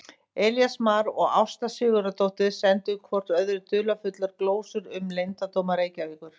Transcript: Elías Mar og Ásta Sigurðardóttir sendu hvort öðru dularfullar glósur um leyndardóma Reykjavíkur.